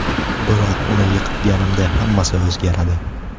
Biroq uni yiqitganimda hammasi o‘zgaradi.